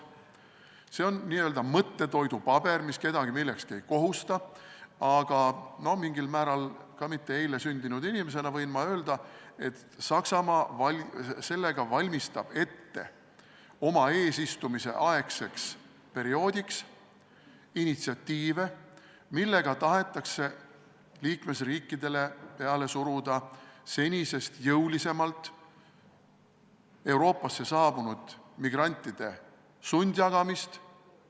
See on n-ö mõttetoidupaber, mis kedagi millekski ei kohusta, aga mitte eile sündinud inimesena võin ma öelda, et Saksamaa valmistab sellega oma eesistumise perioodiks ette initsiatiive, millega tahetakse liikmesriikidele senisest jõulisemalt peale suruda Euroopasse saabunud migrantide sundjagamist.